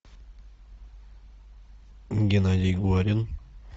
геннадий горин